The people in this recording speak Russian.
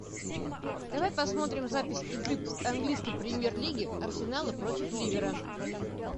давай посмотрим запись игры английской премьер лиги арсенала против ливера